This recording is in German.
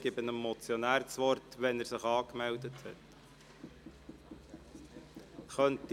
Ich gebe dem Motionär das Wort, sobald er sich angemeldet hat.